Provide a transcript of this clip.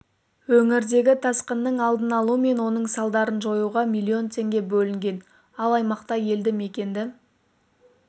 өңірдегі тасқынның алдын алу мен оның салдарын жоюға миллион теңге бөлінген ал аймақта елді мекенді